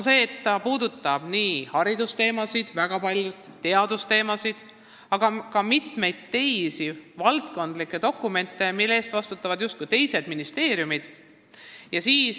See puudutab nii haridus- kui ka teadusteemasid, samuti mitmeid teisi valdkondlikke dokumente, mille eest vastutavad justkui teised ministeeriumid.